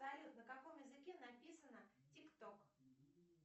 салют на каком языке написано тик ток